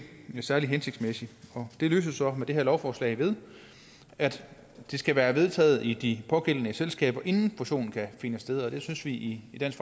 særlig hensigtsmæssigt det løses så med det her lovforslag ved at det skal være vedtaget i de pågældende selskaber inden fusionen kan finde sted og det synes vi i dansk